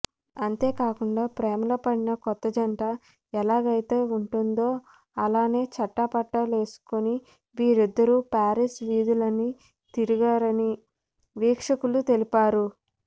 అంతేకాకుండా ప్రేమలో పడిన కొత్త జంట ఎలాగైతే ఉంటుందో అలానే చెట్టాపట్టాలేసుకోని వీరిద్దరూ పారిస్ వీధులన్నీ తిరిగారని వీక్షకులు తెలిపారు